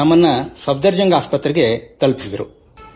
ನಮ್ಮನ್ನು ಸಫ್ದರ್ ಜಂಗ್ ಆಸ್ಪತ್ರೆಗೆ ತಲುಪಿಸಿದರು